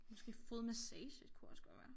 Måske fodmassage kunne også godt være